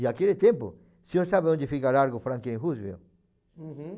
E naquele tempo, o senhor sabe onde fica o Largo Franklin Roosevelt? Uhum.